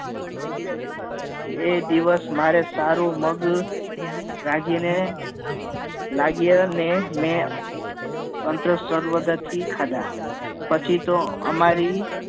એ દિવસ મારે સારું મેગ રાખી રાખીને લાગયને મેં તંત્ર સર્વ દથી ખાધા પછી તો અમારી